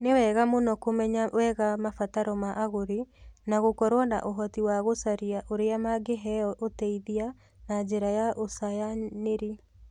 Nĩ wega mũno kumenya wega mabataro ma agũri na gũkorũo na ũhoti wa gũcaria ũria mangĩheo ũteithia na njĩra ya ũcayanĩri.